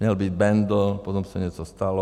Měl být Bendl, potom se něco stalo.